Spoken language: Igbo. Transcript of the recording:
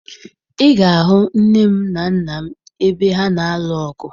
Ị ga-ahụ nne m na nna m ebe ha na-alụ ọgụ